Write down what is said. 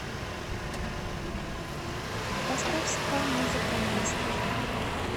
поставь спа музыка мастер